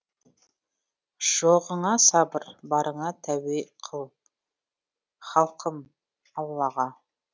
жоғыңа сабыр барыңа тәуе қыл халқым аллаға